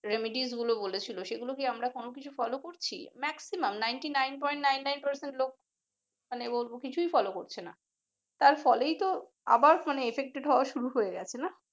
remedies গুলো বলেছিলো সেগুলি কি আমরা আমরা কোন কিছু follow করেছি maximumnintey nine point nine nine percent লোক মানে বলবো কিছুই ফলো করছে নাহ তার ফলেই তো আবার effected হওয়া শুরু হয়ে গেছে নাহ ।